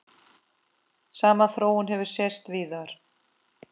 Sama þróun hefur sést víðar.